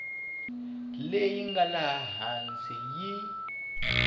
leyi nga laha hansi yi